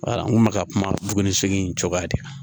n kun bɛ ka kuma buguni segin cogoya de kan